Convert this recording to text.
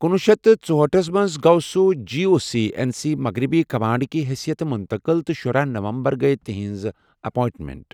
کُنوُہ شیٚتھ تہٕ ژُہأٹھس منٛز گوٚو سُہ G O C in C مغربی کمانڈ کہِ حثیتہٕ منتقل تہٕ شُراہ نومبر گٔیۍ تِہٕنٛز اٮ۪پواینٹمنٹ۔